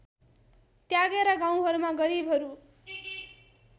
त्यागेर गाउँहरूमा गरिबहरू